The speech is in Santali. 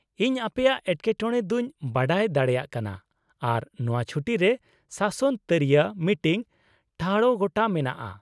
ᱤᱧ ᱟᱯᱮᱭᱟᱜ ᱮᱴᱠᱮᱴᱚᱬᱮ ᱫᱚᱧ ᱵᱟᱰᱟᱭ ᱫᱟᱲᱮᱭᱟᱜ ᱠᱟᱱᱟ ᱟᱨ ᱱᱚᱶᱟ ᱪᱷᱩᱴᱤ ᱨᱮ ᱥᱟᱥᱚᱱ ᱛᱟᱹᱨᱤᱭᱟᱹ ᱢᱤᱴᱤᱝ ᱴᱷᱟᱲᱚ ᱜᱚᱴᱟ ᱢᱮᱱᱟᱜᱼᱟ ᱾